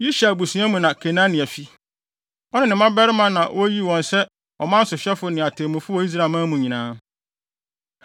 Yishar abusua mu na Kenania fi. Ɔne ne mmabarima na woyii wɔn sɛ ɔman sohwɛfo ne atemmufo wɔ Israelman mu nyinaa.